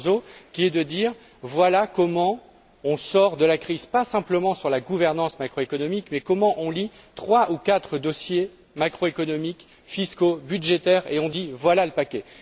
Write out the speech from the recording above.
Barroso, qui devra dire comment on sort de la crise, pas simplement sur la gouvernance macroéconomique, mais comment on lit trois ou quatre dossiers macroéconomiques, fiscaux, budgétaires, et on dit Voilà le paquet.